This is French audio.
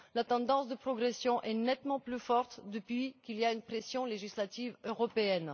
La tendance de progression est nettement plus forte depuis qu'il y a une pression législative européenne.